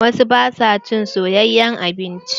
Wasu ba su cin soyayen abinci.